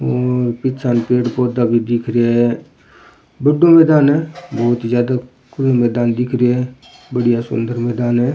और पीछा ने पेड़ पौधा भी दिख रेया है बड़ो मैदान है बहुत ज्यादा खुलो मैदान दिख रो है बढ़िया सुंदर मैदान है।